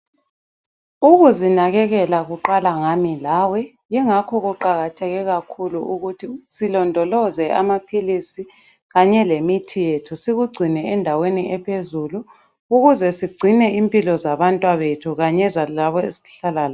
Ukuzinakekela kuqala ngami lawe yingakho kuqakatheke kakhulu ukuthi silondoloze amaphilisi kanye lemithi yethu sikugcine endaweni ephezulu ukuze sigcine impilo zabantwabethu kanye zalabo esihlala labo.